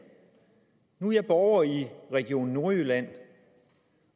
nu er jeg borger i region nordjylland